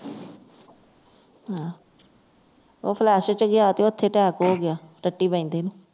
ਹਾਂ ਉਹ flush ਦੇ ਵਿਚ ਗਿਆ ਤੇ ਉੱਥੇ attack ਹੋ ਗਿਆ ਟੱਟੀ ਬੈਦੇ ਨੂੰ